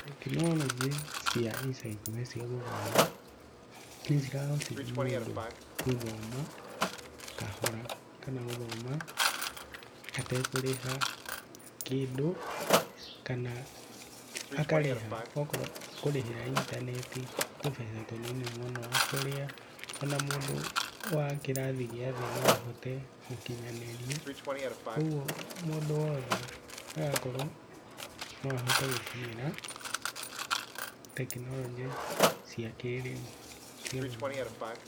Tekinoronjĩ cia ica ikuhĩ cia gũthoma, nĩcirahotithia mũndũ gũthoma kahora kana gũthoma atekũrĩha kĩndũ kana akarĩha okorwo kũrĩhĩra intaneti tũbeca tũnini mũno tũrĩa o na mũndũ wa kĩrathi gĩathi no ahote gũkinyanĩria, ũguo mũndũ wothe agakorwo no ahote gũkinyĩra tekinoronjĩ cia kĩrĩu cia gũthoma.